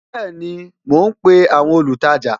Bẹẹni, mo ń pe àwọn olùtajà